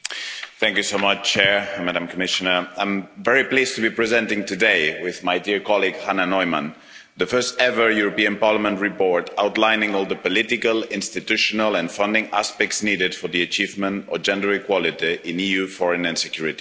Mr President, I'm very pleased to be presenting today, with my dear colleague Hannah Neumann, the first ever European Parliament report outlining all the political, institutional and funding aspects needed for the achievement of gender equality in EU foreign and security policy.